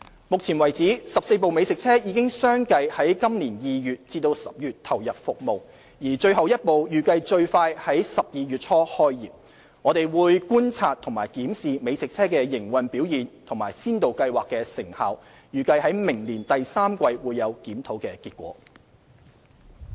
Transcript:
目前為止 ，14 部美食車已相繼在今年2月至10月投入服務，而最後一部預計最快在12月初開業，我們會觀察和檢視美食車的營運表現和先導計劃的成效，預計在明年第三季會有檢討的結果。